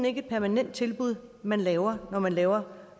ikke et permanent tilbud man laver når man laver